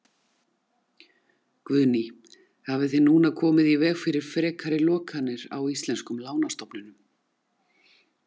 Guðný: Hafið þið núna komið í veg fyrir frekari lokanir á íslenskum lánastofnunum?